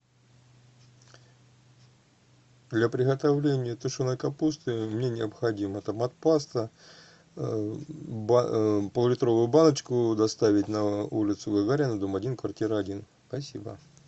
для приготовления тушеной капусты мне необходимо томат паста поллитровую баночку доставить на улицу гагарина дом один квартира один спасибо